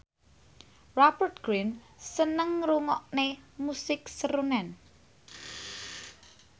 Rupert Grin seneng ngrungokne musik srunen